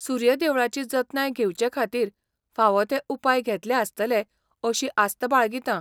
सूर्य देवळाची जतनाय घेवचे खातीर फावो ते उपाय घेतले आसतले अशी आस्त बाळगितां.